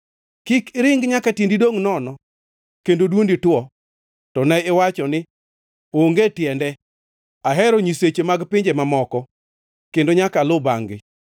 Kik iringi nyaka tiendi dongʼ nono kendo dwondi two. To ne iwacho, ‘Onge tiende! Ahero nyiseche mag pinje mamoko, kendo nyaka aluw bangʼ-gi.’ ”